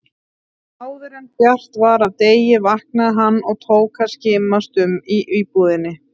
Áðuren bjart var af degi vaknaði hann og tók að skimast um í íbúðinni.